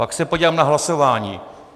Pak se podívám na hlasování.